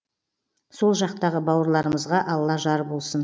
сол жақтағы бауырларымызға алла жар болсын